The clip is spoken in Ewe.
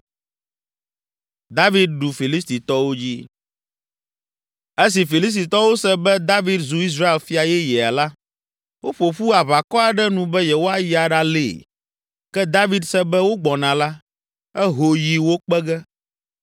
Esi Filistitɔwo se be David zu Israel fia yeyea la, woƒo ƒu aʋakɔ aɖe nu be yewoayi aɖalée. Ke David se be wogbɔna la, eho yi wo kpe ge.